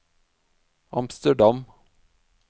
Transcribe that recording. Amsterdam